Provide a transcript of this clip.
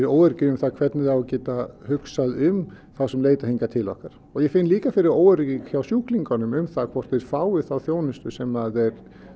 óöryggi um það hvernig það eigi að geta hugsað um þá sem leita hingað til okkar og ég finn líka fyrir óöryggi hjá sjúklingunum um það hvort þeir fái þá þjónustu sem þeir